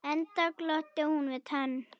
Enda glotti hún við tönn.